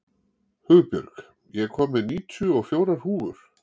Hugbjörg, ég kom með níutíu og fjórar húfur!